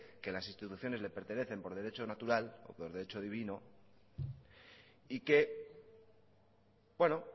que las instituciones le pertenecen por derecho natural o por derecho divino y que bueno